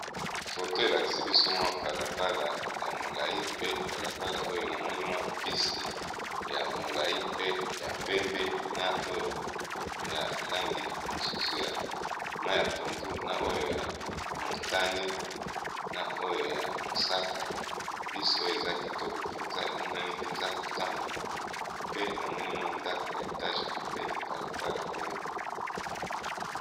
foto elaksi biso mwa balabala ya molai pe balabala oyo na moni mwa bisi ya molai pe ya pembe na oyo ya lange mosusu ya ma ya pondu na oyo ya montane na oyo ya mosaka bisi oyo eza kitoko mpenza emonani eza kotambola pe na monimwa ndako ya etage pembene ya balabala oyo